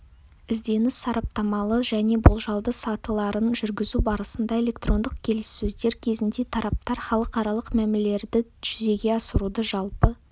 ізденіс сараптамалы және болжалды сатыларын жүргізу барысында электрондық келілссөздер кезінде тараптар халықаралық мәмілелерді жүзеге асырудың жалпы